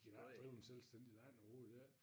De kan jo ikke drive en selvstændig land overhoved ikke